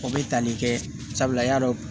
O bɛ tali kɛ sabula i y'a dɔn